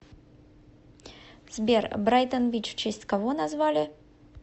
сбер брайтон бич в честь кого назвали